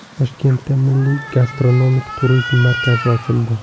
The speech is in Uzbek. Toshkentda milliy gastronomik turizm markazi ochildi.